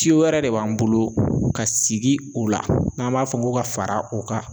wɛrɛ de b'an bolo ka sigi o la n'an b'a fɔ ko ka fara o ka.